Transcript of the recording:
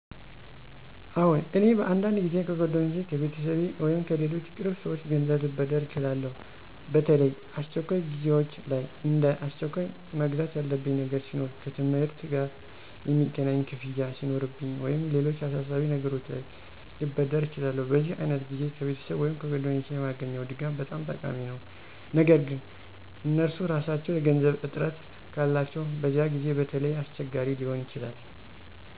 አዎን፣ እኔ በአንዳንድ ጊዜ ከጓደኞቼ፣ ከቤተሰቤ ወይም ከሌሎች ቅርብ ሰዎች ገንዘብ ልበድር እችላለሁ። በተለይ አስቸኳይ ጊዜዎች ላይ፣ እንደ አስቸኳይ መግዛት ያለብኝ ነገር ሲኖር፣ ከትምህርት ጋ የሚገናኝ ክፍያ ሱኖርብኝ ወይም ሌሎች አሳሳቢ ነገሮች ላይ ልበደር እችላለሁ። በዚህ ዓይነት ጊዜ ከቤተሰብ ወይም ከጓደኞቼ የማገኘው ድጋፍ በጣም ጠቃሚ ነው። ነገር ግን እነርሱ ራሳቸው የገንዘብ እጥረት ካላቸው በዚያ ጊዜ በተለይ አስቸጋሪ ሊሆን ይችላል።